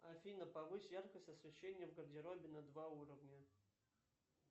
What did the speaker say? афина повысь яркость освещения в гардеробе на два уровня